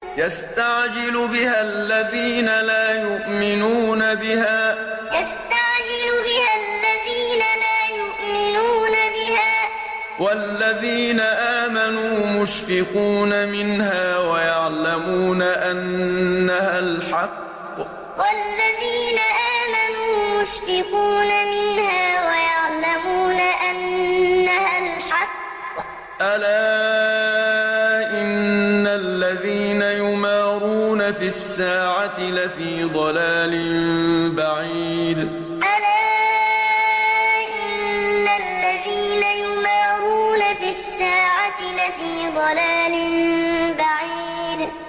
يَسْتَعْجِلُ بِهَا الَّذِينَ لَا يُؤْمِنُونَ بِهَا ۖ وَالَّذِينَ آمَنُوا مُشْفِقُونَ مِنْهَا وَيَعْلَمُونَ أَنَّهَا الْحَقُّ ۗ أَلَا إِنَّ الَّذِينَ يُمَارُونَ فِي السَّاعَةِ لَفِي ضَلَالٍ بَعِيدٍ يَسْتَعْجِلُ بِهَا الَّذِينَ لَا يُؤْمِنُونَ بِهَا ۖ وَالَّذِينَ آمَنُوا مُشْفِقُونَ مِنْهَا وَيَعْلَمُونَ أَنَّهَا الْحَقُّ ۗ أَلَا إِنَّ الَّذِينَ يُمَارُونَ فِي السَّاعَةِ لَفِي ضَلَالٍ بَعِيدٍ